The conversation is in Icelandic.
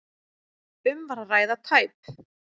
Um var að ræða tæp